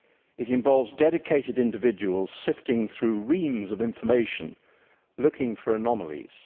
it involves dedicated individuals sifting through reams of information looking for anomalies